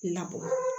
Na bɔ